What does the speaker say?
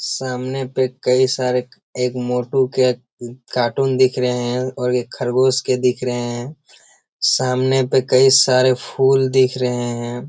सामने पे कई सारे एक मोटू के कार्टून दिख रहे हैं और एक खरगोश के दिख रहे हैं। सामने पे कई सारे फूल दिख रहे हैं।